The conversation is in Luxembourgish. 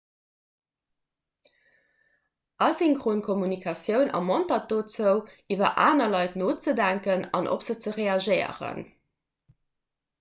asynchron kommunikatioun ermontert dozou iwwer aner leit nozedenken an op se ze reagéieren